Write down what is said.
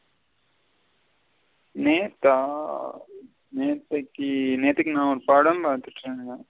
நேத்தா நேத்தைக்கு நேத்தைக்கு ஒரு படம் பாத்துட்டு இருந்த.